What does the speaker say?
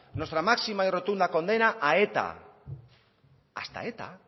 nuestra máxima y rotunda condena a eta hasta eta